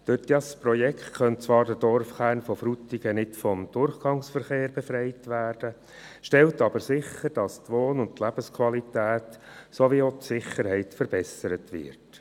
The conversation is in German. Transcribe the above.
Durch dieses Projekt könnte zwar der Dorfkern von Frutigen nicht vom Durchgangsverkehr befreit werden, es stellt jedoch sicher, dass die Wohn- und Lebensqualität sowie die Sicherheit verbessert werden.